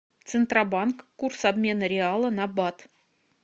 центробанк курс обмена реала на бат